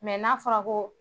n'a fɔra ko